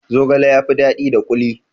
Zogale ya fi daɗi da kuli